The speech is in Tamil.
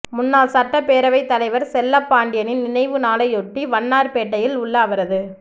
முன்னாள் சட்டப்பேரவைத் தலைவா் செல்லப்பாண்டியனின் நினைவு நாளையொட்டி வண்ணாா்பேட்டையில் உள்ள அவரது